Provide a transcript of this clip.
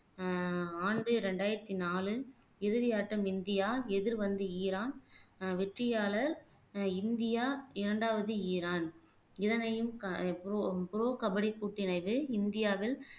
ஆஹ் ஆண்டு இரண்டாயிரத்தி நாலு இறுதி ஆட்டம் இந்தியா எதிர்வந்து ஈரான் ஆஹ் வெற்றியாளர் ஆஹ் இந்தியா இரண்டாவது ஈரான் இதனையும் க ஆஹ் ப்ரொ ப்ரொ கபடி இந்தியாவில்